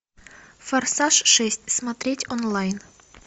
форсаж шесть смотреть онлайн